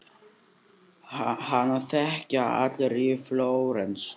Hana þekkja allir í Flórens.